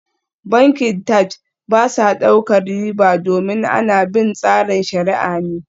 Bankin Taj ba sa daukar riba domin ana bin tsarin shariah ne